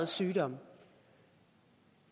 sygdomme